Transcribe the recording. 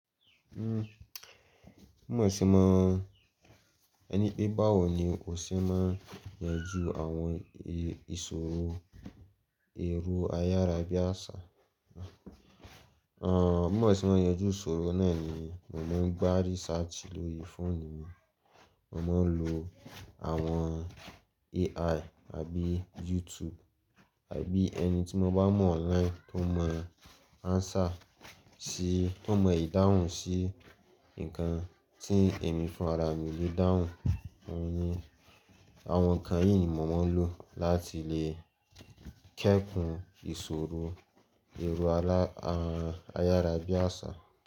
Mó mọ̀ síi máa, ẹni pé báwo ni o ṣe máa yanjú àwọn ìṣòro èrò Ayarabiàṣà? Àn, mó mọ̀ síí máa yanjú ìṣòro náà ni mo máa ń gbá research lórí fóònù mi, mo máa ń lo àwọn AI àbí YouTube àbí ẹni tí mo bá mọ̀ online tó mọ answer síí, tó mọ ìdáhùn síí nǹkan tí ẹ̀mí fún ara mi yóò dáhùn, òní àwọn nǹkan yìí ni mo máa ń lò láti lè kẹ́kùn ìṣòro èrò ala, àyáràbiàṣà.